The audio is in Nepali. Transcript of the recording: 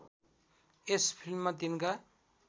यस फिल्ममा तिनका